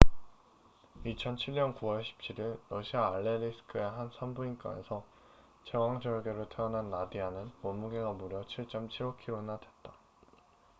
2007년 9월 17일 러시아 알레리스크의 한 산부인과에서 제왕절개로 태어난 나디아는 몸무게가 무려 7.75kg나 됐다